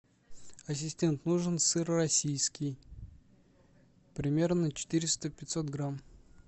ассистент нужен сыр российский примерно четыреста пятьсот грамм